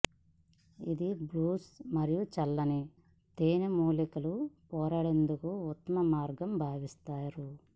ఇది బ్లూస్ మరియు చల్లని తేనె మూలికలు పోరాడేందుకు ఉత్తమ మార్గం భావిస్తారు